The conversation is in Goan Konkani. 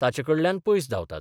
ताचे कडल्यान पयस धांवतात.